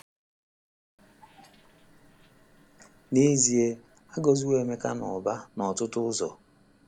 N’ezie, a gọziwo Emeka n’ụba n’ọtụtụ ụzọ.